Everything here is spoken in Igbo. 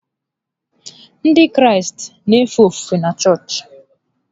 Ndị Kraịst na-efe ofufe na chọọchị.